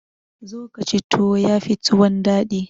zo ka ci tuwo ya Fi tuwon daɗi